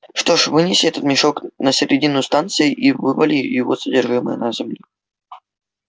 что ж вынеси этот мешок на середину станции и вывали его содержимое на землю